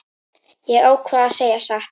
Ég ákvað að segja satt.